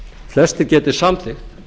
flestir geti samþykkt